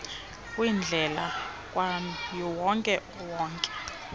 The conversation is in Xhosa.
kwindlela kawonke wonke